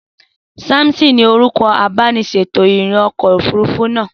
Samson ni orúkọ abániṣètò-ìrìnà ọkọ̀ òfurufú náà.